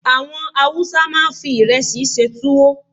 Àwọn Hausa máa ń fi ìrẹsì ṣe túwó